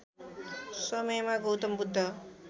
समयमा गौतम बुद्ध